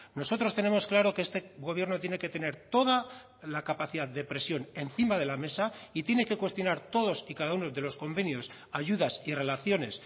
nosotros tenemos claro que este gobierno tiene que tener toda la capacidad de presión encima de la mesa y tiene que cuestionar todos y cada uno de los convenios ayudas y relaciones